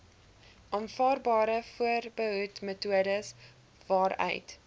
aanvaarbare voorbehoedmetodes waaruit